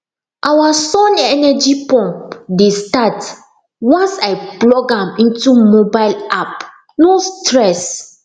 our sun energy pump dey start once i plug am into mobile ap no stress